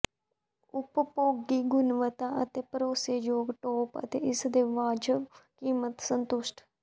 ਉਪਭੋਗੀ ਗੁਣਵੱਤਾ ਅਤੇ ਭਰੋਸੇਯੋਗ ਟੋਪ ਅਤੇ ਇਸ ਦੇ ਵਾਜਬ ਕੀਮਤ ਸੰਤੁਸ਼ਟ